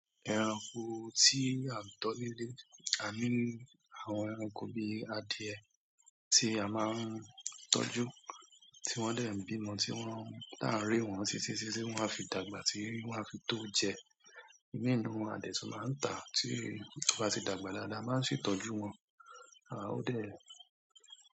Ẹranko tí a tọ́ nílé, aní àwọn ẹranko bí adìẹ tí a máa ń tọ́jú, tí wọ́n dẹ̀ ń bímọ tí wọ́n ta rè wọ́n títí títí wọ́n a fi dàgbà tí wọ́n a fi tó jẹ. Ìmí nínú wọn a dẹ̀ tún máa ń tàá tí ó bá tí dàgbà dáadáa a má n ṣètọ́jú wọn, à ó dẹ̀